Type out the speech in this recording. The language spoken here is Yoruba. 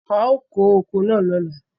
A ó kó oko náà lóla.